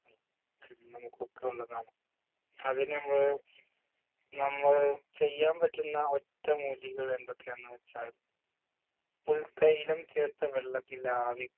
ഉം നമുക്കൊക്കെ ഉള്ളതാണ് അതിന് മ്മള് നമ്മൾ ചെയ്യാൻ പറ്റുന്ന ഒറ്റമൂലികൾ എന്തൊക്കെയെന്ന് വെച്ചാൽ പുൽത്തൈലം ചേർത്ത വെള്ളത്തിൽ ആവി